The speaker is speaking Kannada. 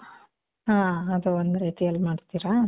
ಹಾ. ಅದು ಒಂದ್ ರೀತಿಯಲ್ ಮಾಡ್ತೀರಾ?